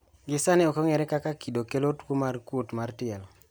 Gisani okong`ere kaka kido kelo tuo mar kuot mar tielo.